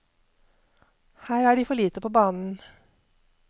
Her er de for lite på banen.